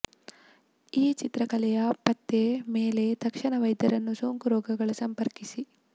ಈ ಚಿತ್ರಕಲೆಯ ಪತ್ತೆ ಮೇಲೆ ತಕ್ಷಣ ವೈದ್ಯರನ್ನು ಸೋಂಕು ರೋಗಗಳ ಸಂಪರ್ಕಿಸಿ